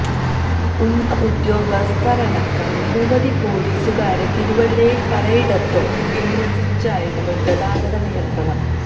ഉന്നത ഉദ്യോഗസ്ഥരടക്കം നിരവധി പൊലീസുകാരെ തിരുവല്ലയിൽ പലയിടത്തും വിന്യസിച്ചായിരുന്നു ഗതാഗത നിയന്ത്രണം